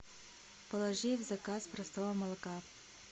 положи в заказ простого молока